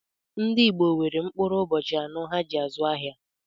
Ndị Igbò nwere mkpụrụ ụbọchị anọ há ji azụ ahịa.